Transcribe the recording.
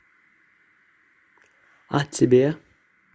а тебе